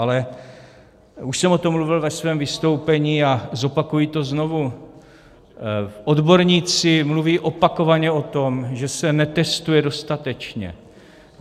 Ale - už jsem o tom mluvil ve svém vystoupení a zopakuji to znovu - odborníci mluví opakovaně o tom, že se netestuje dostatečně.